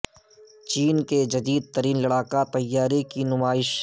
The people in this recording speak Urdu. چین کے جدید ترین لڑاکا طیارے کی نمائش